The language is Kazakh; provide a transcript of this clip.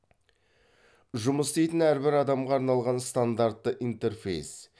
жұмыс істейтін әрбір адамға арналған стандартты интерфейс